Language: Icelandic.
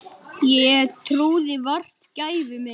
Ég trúði vart gæfu minni.